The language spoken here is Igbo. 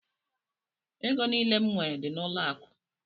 Ego niile m nwere dị n'ụlọ akụ.